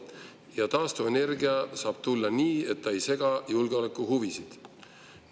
Ja taastuvenergia saab tulla nii, et ta ei sega julgeolekuhuvisid.